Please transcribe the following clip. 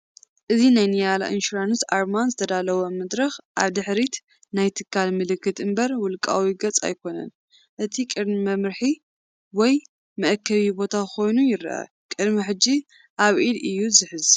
እዚ ናይ ኒያላ ኢንሹራንስ ኣርማን ዝተዳለወ መድረኽን ኣብ ድሕሪት ናይ ትካል ምልክትን እምበር ውልቃዊ ገጽ ኣይኮነን። እቲ ቀርኒ መምርሒ ወይ መአከቢ ቦታ ኮይኑ ይረአ። ቅድሚ ሕጂ ኣብ ኢድ እዩ ዝሕዝ።